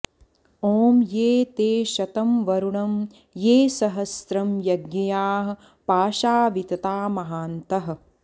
ॐ ये ते शतं वरुणं ये सहश्रं यज्ञियाः पाशा वितता महान्तः